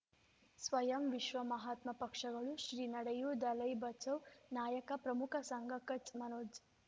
ಸ್ವಯಂ ವಿಶ್ವ ಮಹಾತ್ಮ ಪಕ್ಷಗಳು ಶ್ರೀ ನಡೆಯೂ ದಲೈ ಬಚೌ ನಾಯಕ ಪ್ರಮುಖ ಸಂಘ ಕಚ್ ಮನೋಜ್